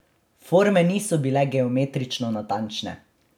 Forme niso bile geometrično natančne.